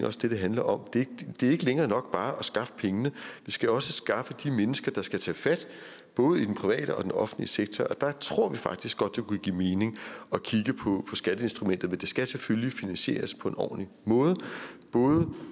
også det det handler om det er ikke længere nok bare at skaffe pengene vi skal også skaffe de mennesker der skal tage fat både i den private og den offentlige sektor og der tror vi faktisk godt det kunne give mening at kigge på skatteinstrumentet men det skal selvfølgelig finansieres på en ordentlig måde